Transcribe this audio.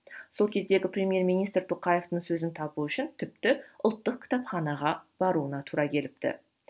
сол кездегі премьер министр тоқаевтың сөзін табу үшін тіпті ұлттық кітапханаға баруына тура келіпті